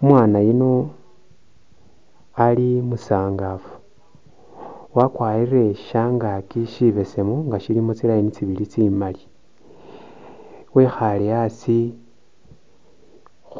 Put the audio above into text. Umwaana yuuno ali musangafu wakwarile shangaki shibesemu nga siilimo tsi'line tsibili tsimali wekhale asi